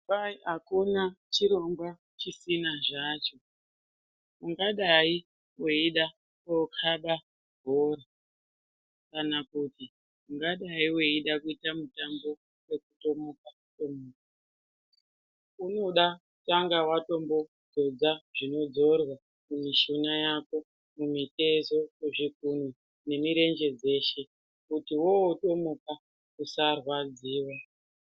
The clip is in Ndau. Kwayi akuna chirongwa chisina zvacho, ungadayi weida kokhaba bhora kana kuti ungadayi weida kuita mutambo wekutomuka tomuka unoda kutanga watombodzodza zvinodzorwa mumishuna yako, mumitezo, muzvikunwe nemirenje dzeshe kuti wotomuka usarwadziwa.